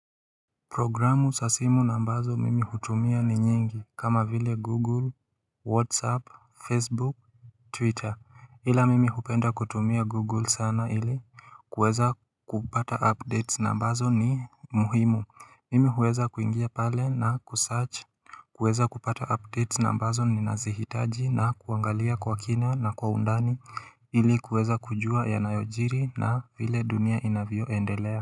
Programu sa simu na ambazo mimi hutumia ni nyingi kama vile google, whatsapp, facebook, twitter ila mimi hupenda kutumia google sana ili kuweza kupata updates na ambazo ni muhimu mimi huweza kuingia pale na kusearch kuweza kupata updates na ambazo nina zihitaji na kuangalia kwa kina na kwa undani ili kuweza kujua yanayojiri na vile dunia inavyoendelea.